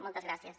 moltes gràcies